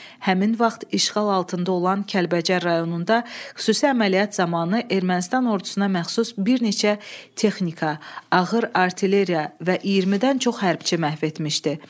Həmin vaxt işğal altında olan Kəlbəcər rayonunda xüsusi əməliyyat zamanı Ermənistan ordusuna məxsus bir neçə texnika, ağır artilleriya və 20-dən çox hərbçi məhv etmişdi.